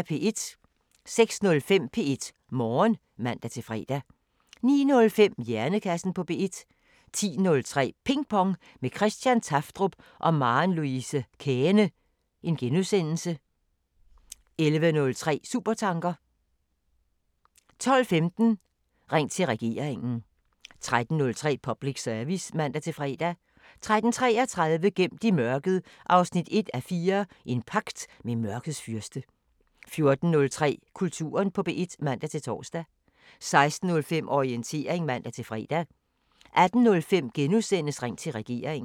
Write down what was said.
06:05: P1 Morgen (man-fre) 09:05: Hjernekassen på P1 10:03: Ping Pong – med Christian Tafdrup og Maren Louise Käehne (G) 11:03: Supertanker 12:15: Ring til Regeringen 13:03: Public Service (man-fre) 13:33: Gemt i mørket 1:4 – En pagt med mørkets fyrste 14:03: Kulturen på P1 (man-tor) 16:05: Orientering (man-fre) 18:05: Ring til Regeringen *